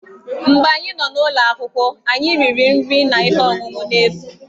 Mgbe anyị nọ n'ụlọ akwụkwọ, anyị riri nri na ihe ọṅụṅụ n'efu.